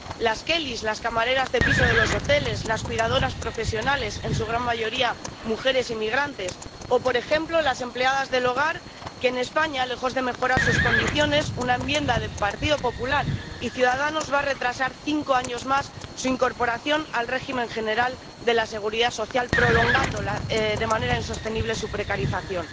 las kellys —las camareras de piso de los hoteles—, las cuidadoras profesionales —en su gran mayoría, mujeres inmigrantes— o, por ejemplo, las empleadas de hogar, a quienes, en España, lejos de mejorar sus condiciones, una enmienda del Partido Popular y Ciudadanos va a retrasarles cinco años más su incorporación al Régimen General de la Seguridad Social, prolongando, de manera insostenible, su precarización.